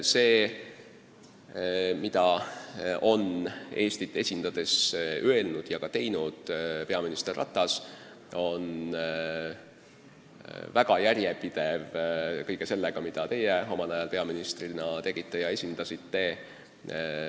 See, mida on Eestit esindades öelnud ja ka teinud peaminister Ratas, on väga hästi haakunud kõige sellega, mida teie omal ajal peaministrina tegite ja ütlesite.